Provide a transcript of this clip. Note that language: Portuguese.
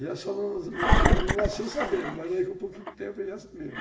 já só não nasceu sabendo, mas daí com um pouquinho de tempo ele já sabia.